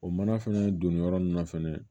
O mana fɛnɛ donni yɔrɔ nunnu na fɛnɛ